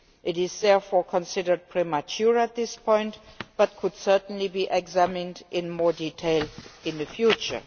It is therefore considered premature at this point but could certainly be examined in more detail in the future.